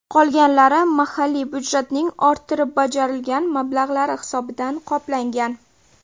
Qolgani mahalliy budjetning orttirib bajarilgan mablag‘lari hisobidan qoplangan.